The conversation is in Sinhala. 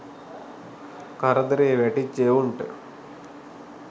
කරදරේ වැටිච්ච එවුන්ට